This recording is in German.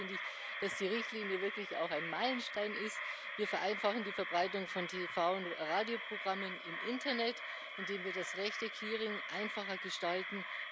Ansonsten finde ich, dass die Richtlinie wirklich auch ein Meilenstein ist Wir vereinfachen die Verbreitung von TV und Radioprogrammen im Internet, indem wir das Rechte Clearing einfacher gestalten.